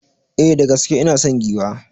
E, da gaske ina son giwa.